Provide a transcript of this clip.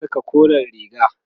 zan Saka koren riga